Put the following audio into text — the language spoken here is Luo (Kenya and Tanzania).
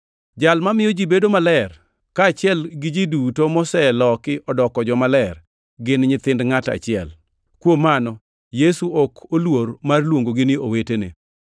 Jal mamiyo ji bedo maler, kaachiel gi ji duto moseloki odoko jomaler, gin nyithind ngʼat achiel. Kuom mano Yesu ok oluor mar luongogi ni owetene,